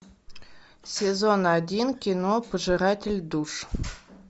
сезон один кино пожиратель душ